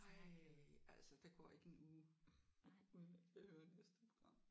Ej altså der går ikke en uge uden at jeg hører næste program